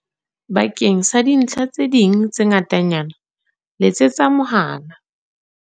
Bakeng sa dintlha tse ding tse ngatanyana letsetsa mohala